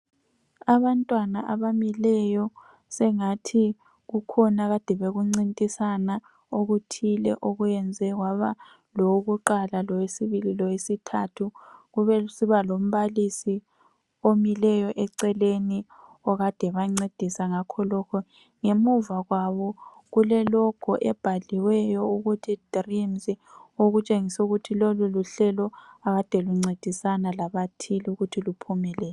Abantwana abamileyo sengathi kukhona akade bekuncintisana okuthile okwenze kwaba lowokuqala lowesibili lowesithathu. Kube sekusiba lombalisi omileyo eceleni okade ebancedisa ngakho lokhu. Ngemuva kwabo kulelogo ebhaliweyo ukuthi dreams okutshengisayo ukuthi lolu luhlelo ekade luncedisana labathile ukuthi luphumelele.